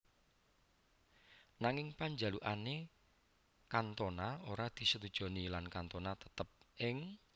Nanging panjalukane Cantona ora disetujoni lan Cantona tetep ing